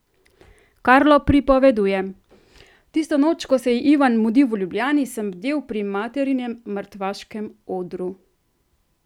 Karlo pripoveduje: "Tisto noč, ko se je Ivan mudil v Ljubljani, sem bdel pri materinem mrtvaškem odru.